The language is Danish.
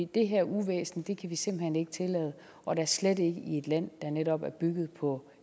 det her uvæsen kan vi simpelt hen ikke tillade og da slet ikke i et land der netop er bygget på